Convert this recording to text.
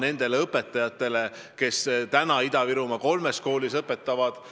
Praegu hõlmab see projekt kolme kooli ja seda projekti jätkatakse.